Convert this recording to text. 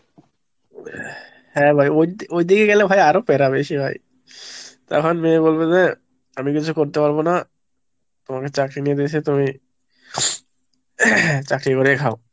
হ্যাঁ ভাই ওইদিকে গেলে ভাই আরো পেরা বেশি ভাই। তখন মেয়ে বলবে যে আমি কিছু করতে পারবো না, তোমাকে চাকরি নিয়ে দিয়েছি তুমি চাকরি করে খাও।